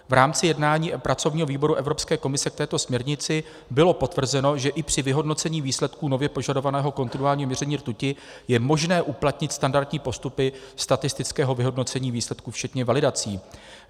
V rámci jednání pracovního výboru Evropské komise k této směrnici bylo potvrzeno, že i při vyhodnocení výsledků nově požadovaného kontinuálního měření rtuti je možné uplatnit standardní postupy statistického vyhodnocení výsledků včetně validací.